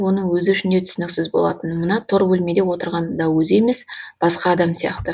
оның өзі үшін де түсініксіз болатын мына тор бөлмеде отырған да өзі емес басқа адам сияқты